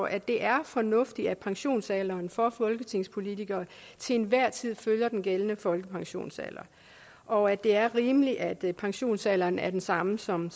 at det er fornuftigt at pensionsalderen for folketingspolitikere til enhver tid følger den gældende folkepensionsalder og at det er rimeligt at pensionsalderen er den samme som